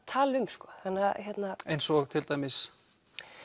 tala um eins og til dæmis